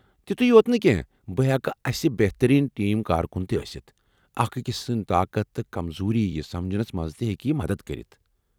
تیُتُے یوت نہٕ کینٛہہ، بہٕ ہیٚکہ اسہ بہترین ٹیم کارکن ٲسِتھ، اکھ أکس سُنٛد طاقت تہٕ کمزوی یہ سمجھنس منٛز تہ ہیٚکی یہِ مدتہ کٔرتھ ۔